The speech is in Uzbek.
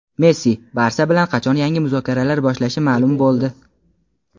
Messi "Barsa" bilan qachon yangi muzokaralar boshlashi ma’lum bo‘ldi.